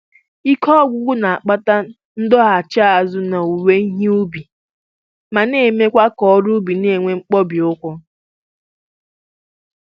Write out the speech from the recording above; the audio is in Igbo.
Ike ọgwụgwụ na-akpata ndọghachi azụ n'owuwe ihe ubi ma na-emekwa ka ọrụ ubi na-enwe ihe mkpọbi ụkwụ